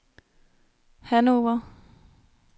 Hannover